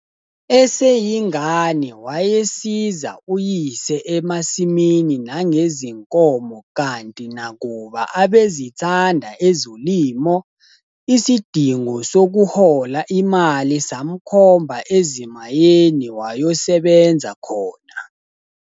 Eseyingane, wayesiza uyise emasimini nangezinkomo kanti nakuba abezithanda ezolimo, isidingo sokuhola imali samkhomba ezimayeni wayosebenza khona.